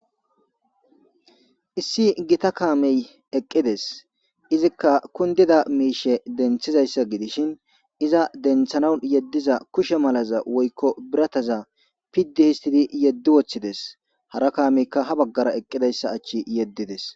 Issi giita kaamey eqqides izzika kunddida mishsha denththizaysa gidishin izza denththanawu yeddiza kushshe malaza woykko biirataza pidi hisstidi yeddi woththides hara kaameyka ha baggara eqqidaysa ache yedides.